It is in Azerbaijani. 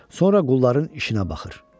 Sonra qulların işinə baxır.